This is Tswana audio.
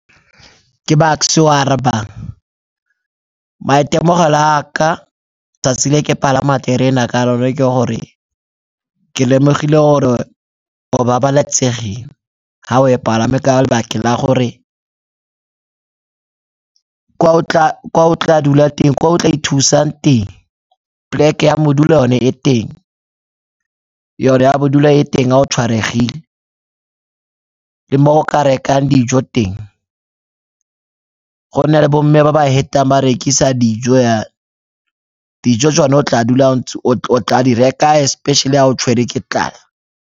Ke Bucks-e yo a arabang, maitemogelo a ka 'tsatsi le ke palama terena ka lone ke gore ke lemogile gore o babalesegile ga o e palame ka lebaka la gore kwa o tla ithusang teng poleke ya bodulo yone e teng, yone ya bodulo e teng ga o tshwaregile le mo o ka rekang dijo teng. Go nna le bo mme ba ba hetang ba rekisa dijo , dijo tsone o tla di reka especially ga o tshwere ke tlala.